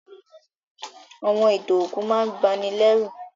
Àwọn ìtàn òkú máà n banilérù